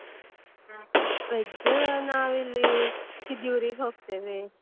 Veg ನಾವಿಲ್ಲಿ Kediyoor ಗೆ ಹೋಗ್ತೇವೆ.